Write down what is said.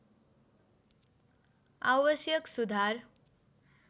आवश्यक सुधार